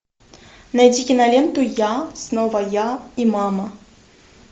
найди киноленту я снова я и мама